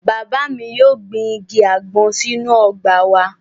Bàbá mi yóò gbin igi àgbọn sínú ọgbà wa